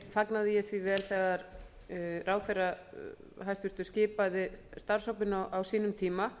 fagnaði ég því vel þegar hæstvirtur ráðherra skipaði starfshópinn á sínum tíma